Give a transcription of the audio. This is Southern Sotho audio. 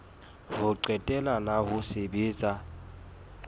ho qetela la ho sebetsa